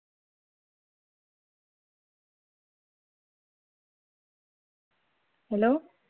hello